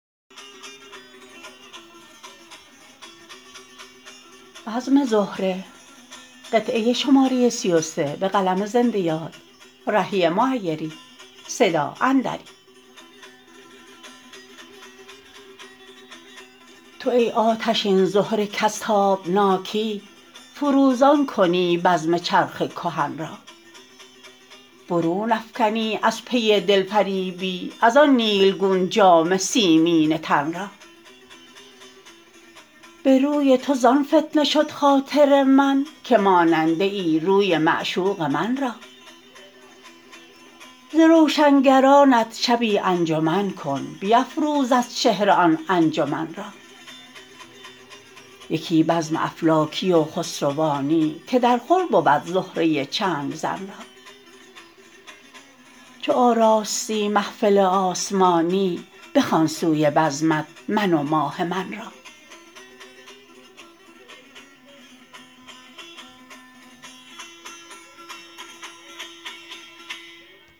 تو ای آتشین زهره کز تابناکی فروزان کنی بزم چرخ کهن را برون افکنی از پی دل فریبی از آن نیلگون جامه سیمینه تن را به روی تو زان فتنه شد خاطر من که ماننده ای روی معشوق من را ز روشنگرانت شبی انجمن کن بیفروز از چهره آن انجمن را یکی بزم افلاکی و خسروانی که درخور بود زهره چنگ زن را چو آراستی محفل آسمانی بخوان سوی بزمت من و ماه من را